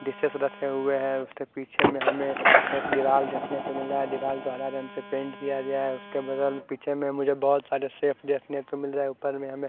dishes रखे हुए है उसके पीछे में हमे दीवाल देखने को मिल रहा है दीवाल को हरे रंग से पेंट किया गया है उसके बगल पीछे में मुझे बहोत सारे शेल्फ देखने को मिल रहे है ऊपर भी हमे--